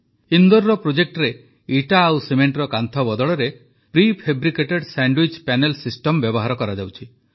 ଇନ୍ଦୋରର ପ୍ରୋଜେକ୍ଟରେ ଇଟା ଓ ସିମେଣ୍ଟର କାନ୍ଥ ବଦଳରେ ପ୍ରିଫେବ୍ରିକେଟେଡ ସ୍ୟାଣ୍ଡ୍ୱିଚ୍ ପ୍ୟାନେଲ୍ ସିଷ୍ଟମ୍ ବ୍ୟବହାର କରାଯାଉଛି